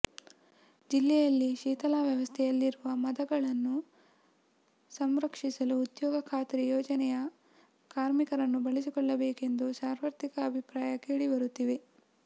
ಜಿಲ್ಲೆಯಲ್ಲಿ ಶಿಥಿಲಾವಸ್ಥೆಯಲ್ಲಿರುವ ಮದಗಗಳನ್ನು ಸಂರಕ್ಷಿಸಲು ಉದ್ಯೋಗ ಖಾತ್ರಿ ಯೋಜನೆಯ ಕಾರ್ಮಿಕರನ್ನು ಬಳಸಿಕೊಳ್ಳಬೇಕೆಂದು ಸಾರ್ವತ್ರಿಕವಾಗಿ ಅಭಿಪ್ರಾಯಗಳು ಕೇಳಿ ಬರುತ್ತಿವೆ